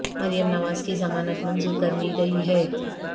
مریم نواز کی ضمانت منظور کر لی گئی ہے